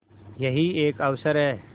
यही एक अवसर है